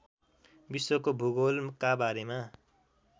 विश्वको भूगोलका बारेमा